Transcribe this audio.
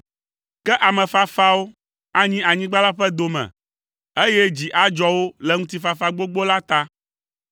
Ke ame fafawo anyi anyigba la ƒe dome, eye dzi adzɔ wo le ŋutifafa gbogbo la ta.